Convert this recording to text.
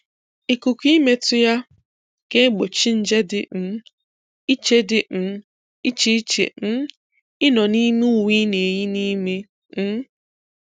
Ikuku ịmetụ ya ga-egbochi nje dị um iche dị um iche iche um ịnọ n’ime uwe ị na-eyị n’ime. um